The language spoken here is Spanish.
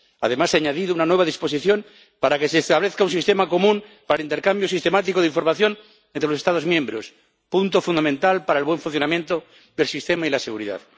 Además, ha añadido una nueva disposición para que se establezca un sistema común para el intercambio sistemático de información entre los Estados miembros, punto fundamental para el buen funcionamiento del sistema y la seguridad.